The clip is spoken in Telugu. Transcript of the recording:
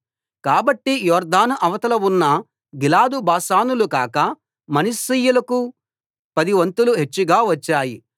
కాబట్టి యొర్దాను అవతల ఉన్న గిలాదు బాషానులు కాక మనష్షీయులకు పదివంతులు హెచ్చుగా వచ్చాయి